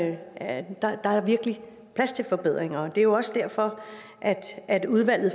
er plads til forbedringer det er jo også derfor at udvalget